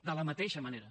de la mateixa manera